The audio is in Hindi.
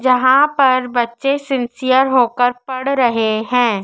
जहां पर बच्चे सिंन्सियर होकर पढ़ रहे हैं।